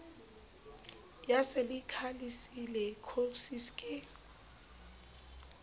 ya silikha le silikhosis ke